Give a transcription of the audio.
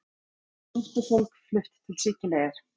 Flóttafólk flutt til Sikileyjar